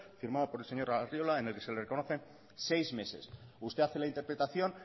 firmada por el señor arriola en el que se le reconocen seis meses usted hace la interpretación